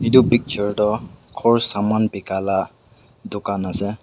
etu picture to ghor saman laga bika la dukan ase.